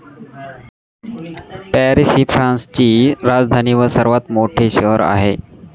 Paris ही फ्रान्सची राजधानी व सर्वात मोठे शहर आहे.